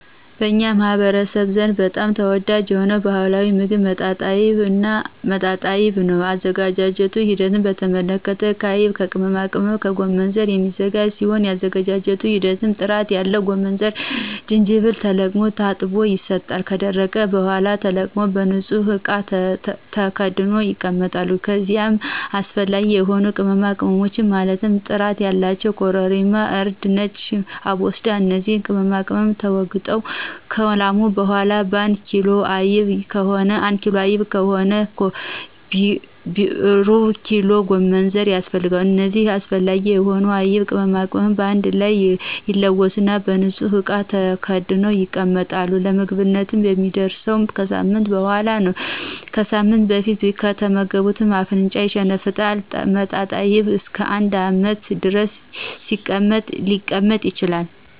በኛ ማህበረሰብ ዘንድ በጣም ተወዳጅ የሆነ ባህላዊ ሞግብ መጣጣይብ ነው የአዘገጃጀቱ ሂደት በተመለከተ ከአይብ ከቅመማቅመምና ከጎመንዘር የሚዘጋጅ ሲሆን የአዘገጃጀት ሂደቱም ጥራት ያለው ጎመንዘርና ጅጅብል ተለቅሞ ታጥቦ ይሰጣል ከደረቀ በሗላ ተወቅጦ በንጹህ እቃ ተከድኖ ይቀመጣል ከዚይም አሰፈላጊ የሆኑ ቅመማቅመሞች ማለትም ጥራት ያላቸው ኮረሪማ :እርድና ነጭ አቦስዳ እነዚህ ቅመማቅመም ተወግጠው ከላሙ በሗላ አንድ ኪሎ አይብ ከሆነ ሩብኪሎ ጎመንዘር ያስፈልጋል እነዚህ አስፈላጊ የሆኑትን አይብና ቅመማቅመም በአንድ ላይ ይለወሱና በንጹህ እቃ ተከድኖ ይቀመጣል ለምግብነት የሚደርሰው ከሳምንት በሗላ ነው ከሳምንት በፊት ከተመገቡት አፍንጫን ይሸነፍጣል መጣጣይብ እስከ አንድ አመት ድረስ ሊቀመጥ ይችላል